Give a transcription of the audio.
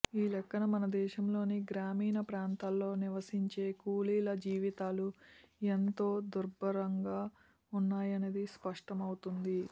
ఈ లెక్కన మన దేశంలోని గ్రామీణ ప్రాంతాల్లో నివసించే కూలీల జీవితాలు ఎంత దుర్భంగా ఉన్నాయనేది స్పష్టం అవుతుంది